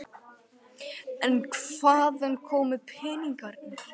En hvaðan komu peningarnir?